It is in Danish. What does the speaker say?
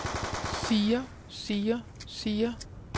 siger siger siger